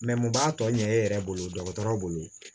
mun b'a tɔ ɲɛ e yɛrɛ bolo dɔgɔtɔrɔ bolo